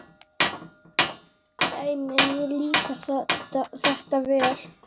Dæmi: Mér líkar þetta vel.